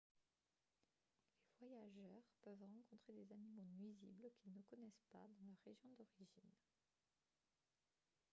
les voyageurs peuvent rencontrer des animaux nuisibles qu'ils ne connaissent pas dans leur région d'origine